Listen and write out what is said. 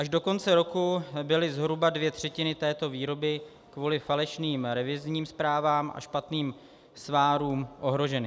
Až do konce roku byly zhruba dvě třetiny této výroby kvůli falešným revizním zprávám a špatným svarům ohroženy.